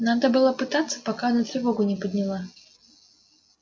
надо было пытаться пока она тревогу не подняла